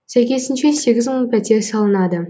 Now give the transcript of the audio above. сәйкесінше сегіз мың пәтер салынады